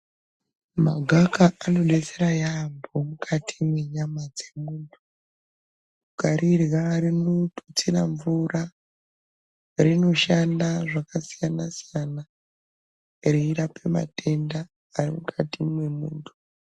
Magaka anodetsera yampho mukati mwenyama dzemuntu. Ukarirya rinotutsira mvura rinoshanda zvakasiyana-siyana reirapa matenda ari mukati mwemuntu.